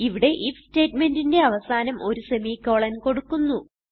ഇവിടെ ഐഎഫ് സ്റ്റേറ്റ്മെന്റിന്റെ അവസാനം ഒരു സെമിക്കോളൻ കൊടുക്കുന്നു